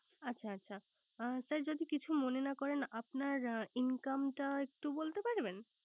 আচ্ছ আচ্ছা sir যদি কিছু না মনে করেন। আপনার Income টা একটু বলতে পারবেন।